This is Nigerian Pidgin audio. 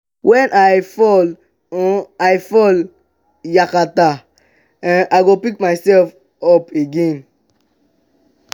wen i fall um i fall um yakata um i go pick myself up again.